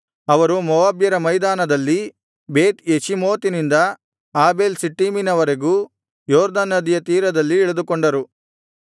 ಅವರು ಮೋವಾಬ್ಯರ ಮೈದಾನದಲ್ಲಿ ಬೇತ್ ಯೆಷೀಮೋತಿನಿಂದ ಆಬೇಲ್ ಶಿಟ್ಟೀಮಿನವರೆಗೂ ಯೊರ್ದನ್ ನದಿಯ ತೀರದಲ್ಲಿ ಇಳಿದುಕೊಂಡರು